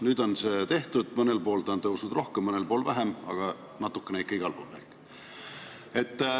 Nüüd on see tehtud – mõnel pool on ta tõusnud rohkem, mõnel pool vähem, aga natukene ikka igal pool.